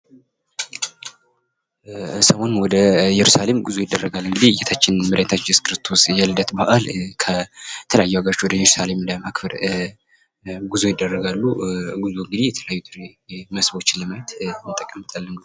ሰሞኑን ወደ እየሩሳሌም ጉዞ ይደረጋል እንግዲህ የጌታችን የመድሃኒታችን እየሱስ ክርስቶስ የልደት በአል ከተለያዩ ሃገሮች ወደ እየሩሳሌም ለማክበር ጉዞ ይደረጋሉ ጉዞውን እንግዲህ የተለያዩ መስህቦችን ለማየት እንጠቀምበታለን።